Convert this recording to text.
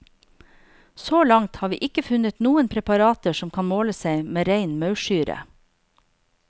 Så langt har vi ikke funnet noen preparater som kan måle seg med rein maursyre.